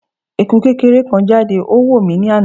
Eku kekere kan jade o wo mi ni ana